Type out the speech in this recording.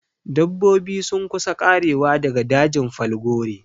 Dabbobi sun kusa ƙarewa daga dajin falgore